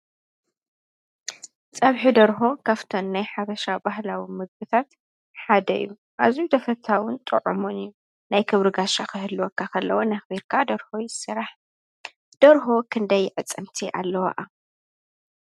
ፀብሒ ደርሆ ካፍተን ናይ ሓበሻ ባህላዊ ምግብታት ሓደ እዩ። ኣዝዩ ተፈታውን ጡዑሙን እዩ። ናይ ክብሪ ጋሻ ኽህልወካ እንከሎ እውን ኣኽቢርካ ደርሆ ይስራሕ። ደርሆ ክንደይ ኣዕፅምቲ ኣለዋኣ?